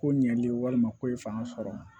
Ko ɲɛli walima ko ye fanga sɔrɔ